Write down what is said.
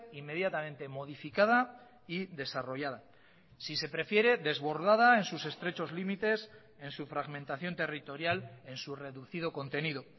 inmediatamente modificada y desarrollada si se prefiere desbordada en sus estrechos límites en su fragmentación territorial en su reducido contenido